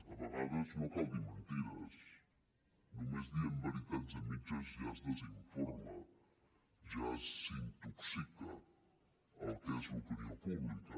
a vegades no cal dir mentides només dient veritats a mitges ja es desinforma ja s’intoxica el que és l’opinió pública